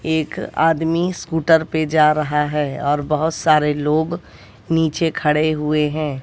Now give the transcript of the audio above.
एक आदमी स्कूटर पे जा रहा है और बहोत सारे लोग नीचे खड़े हुए हैं।